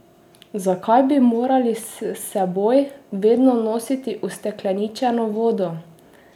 Zakaj bi morali s seboj vedno nositi ustekleničeno vodo?